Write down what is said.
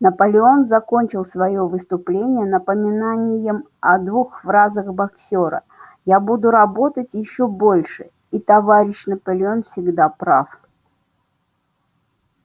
наполеон закончил своё выступление напоминанием о двух фразах боксёра я буду работать ещё больше и товарищ наполеон всегда прав